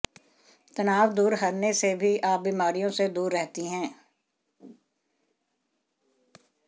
तनाव दूर हरने से भी आप बीमारियों से दूर रहती हैं